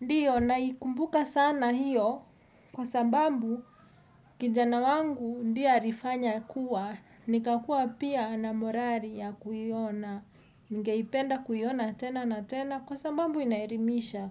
Ndiyo naikumbuka sana hiyo kwa sababu kijana wangu ndiye alifanya kuwa, nikakua pia na morali ya kuiona, ningeipenda kuiona tena na tena kwa sababu inaelimisha.